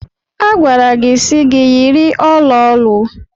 A gwara gị si gi yiri ọla olu.